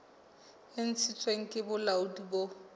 e ntshitsweng ke bolaodi bo